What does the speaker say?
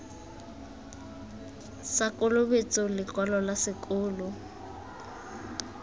sa kolobetso lekwalo la sekolo